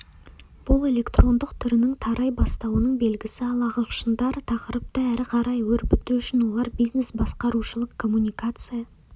бұл электрондық түрінің тарай бастауының белгісі ал ағылшындар тақырыпты әрі қарай өрбіту үшін олар бизнес-басқарушылық коммуникация